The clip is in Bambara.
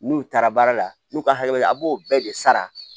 N'u taara baara la n'u ka hakɛ bɛ a b'o bɛɛ de sara